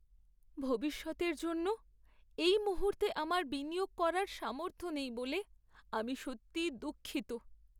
ভবিষ্যতের জন্য এই মুহূর্তে আমার বিনিয়োগ করার সামর্থ্য নেই বলে আমি সত্যিই দুঃখিত।